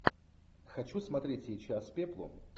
хочу смотреть сейчас пеплом